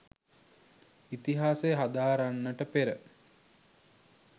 ඉතිහාසය හදාරන්නට පෙර